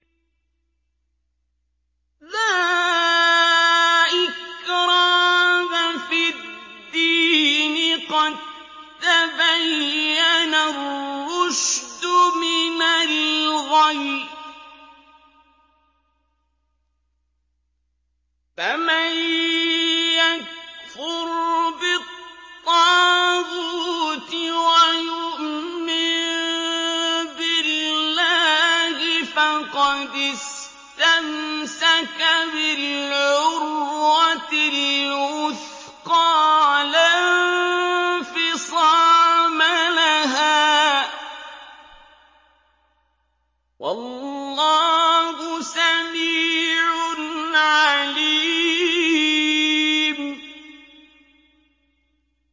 لَا إِكْرَاهَ فِي الدِّينِ ۖ قَد تَّبَيَّنَ الرُّشْدُ مِنَ الْغَيِّ ۚ فَمَن يَكْفُرْ بِالطَّاغُوتِ وَيُؤْمِن بِاللَّهِ فَقَدِ اسْتَمْسَكَ بِالْعُرْوَةِ الْوُثْقَىٰ لَا انفِصَامَ لَهَا ۗ وَاللَّهُ سَمِيعٌ عَلِيمٌ